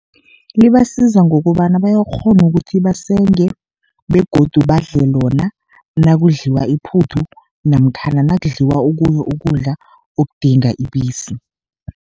Libasiza ngokobana bayakghona ukuthi basenge begodu badle lona nakudliwa iphuthu, namkhana nakudliwa okunye ukudla okudinga ibisi.